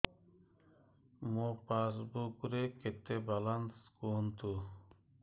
ମୋ ପାସବୁକ୍ ରେ କେତେ ବାଲାନ୍ସ କୁହନ୍ତୁ